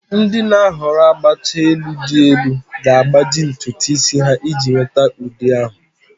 Ndị na-ahọrọ agbacha elu dị elu ga-agbaji ntutu isi ha iji nweta ụdị ahụ.